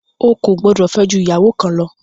O kò gbọdọ̀ fẹ́ jù ìyàwó kan lọ!